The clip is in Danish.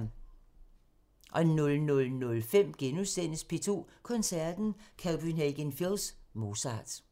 00:05: P2 Koncerten – Copenhagen Phils Mozart *